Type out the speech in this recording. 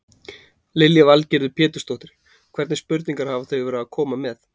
Lillý Valgerður Pétursdóttir: Hvernig spurningar hafa þau verið að koma með?